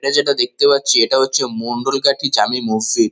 এটা যেটা দেখতে পাচ্ছি এটা হচ্ছে মণ্ডলগাঠি জামি মসজিদ ।